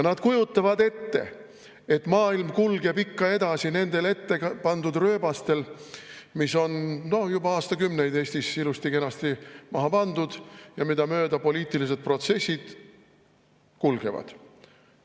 Nad kujutavad ette, et maailm kulgeb ikka edasi ettepandud rööbastel, mis on juba aastakümneid tagasi Eestis ilusti-kenasti maha pandud ja mida mööda poliitilised protsessid kulgevad.